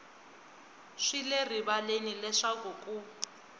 swi le rivaleni leswaku ku